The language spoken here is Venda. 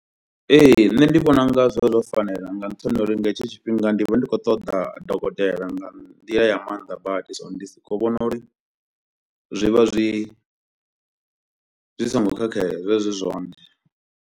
Ee nṋe ndi vhona unga zwi vha zwo fanela nga nṱhani ha uri nga hetsho tshifhinga ndi vha ndi khou ṱoḓa dokotela nga nḓila ya mannḓa badi so ndi sokou vhona uri zwi vha zwi zwi songo khakhea, zwi vha zwi zwone.